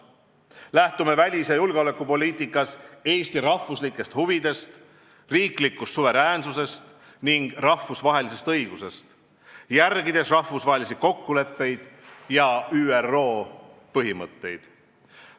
Lähtume välis- ja julgeolekupoliitikas Eesti riigi huvidest, riiklikust suveräänsusest ning rahvusvahelisest õigusest, järgides rahvusvahelisi kokkuleppeid ja ÜRO põhimõtteid.